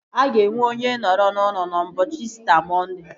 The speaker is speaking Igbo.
Aga enwe onye nọrọ n'ụlọ n'ụbọchị İsita Mọnde